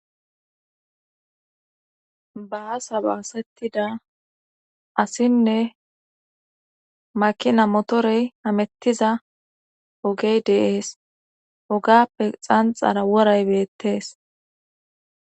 baa sa baasettida asinne makina motorey hamettiza ogey deees ogappe xanxara woray beettees